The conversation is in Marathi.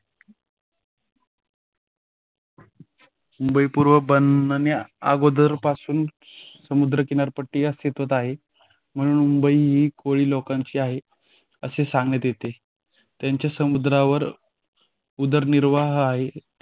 मुंबई पूर्व बनण्याअगोदर पासून समुंदर किनारे पटिया अस्तित्वात आहे म्हणून मुंबई ही कोळी लोकांची आहे असे सांगत येते. त्यांचे समुद्रावर उदरनिर्वाह आहे